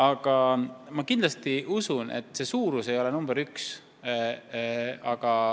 Aga ma kindlasti usun, et omavalitsuse suurus ei ole tegur number üks.